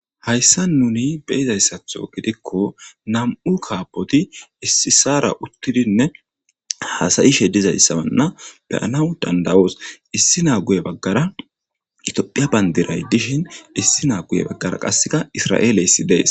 Hayssa nuni beizayssathth gidikko nam'u kaapoti issisaara uttidinne haasayishe dizayssa beyanaw dandawoos issi naaguye baggara itophphiya bayndiray dishin issi naa guye baggara qasseka isra'eeleyssi dees